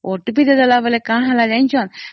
OTP ଦେଲା ପରେ କଣ ହେଲା ଜାଣିଛନ୍ତି